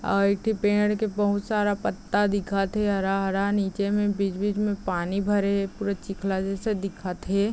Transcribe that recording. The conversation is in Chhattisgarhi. औ इ के पेड़ के बहुत सारा पत्ता दिखत हे हरा-हरा नीचे में बीच-बीच में पानी भरे हे पुरा चिखला जैसे दिखत हे ।